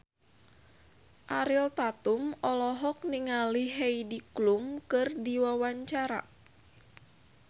Ariel Tatum olohok ningali Heidi Klum keur diwawancara